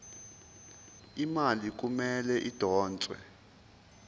imali kumele idonswe